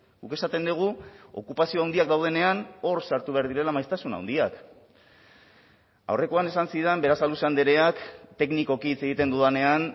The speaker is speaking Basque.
guk esaten dugu okupazio handiak daudenean hor sartu behar direla maiztasun handiak aurrekoan esan zidan berasaluze andreak teknikoki hitz egiten dudanean